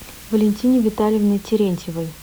валентине витальевне терентьевой